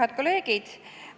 Head kolleegid!